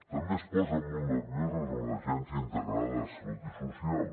també es posen molt nerviosos amb l’agència integrada de salut i social